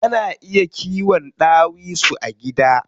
Ana iya kiwon ɗawisu a gida.